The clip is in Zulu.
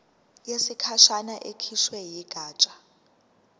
yesikhashana ekhishwe yigatsha